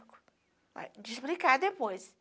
uai, de explicar depois